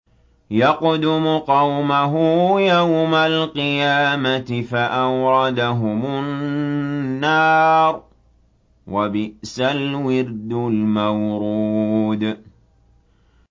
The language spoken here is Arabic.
يَقْدُمُ قَوْمَهُ يَوْمَ الْقِيَامَةِ فَأَوْرَدَهُمُ النَّارَ ۖ وَبِئْسَ الْوِرْدُ الْمَوْرُودُ